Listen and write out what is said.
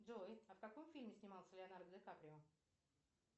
джой а в каком фильме снимался леонардо ди каприо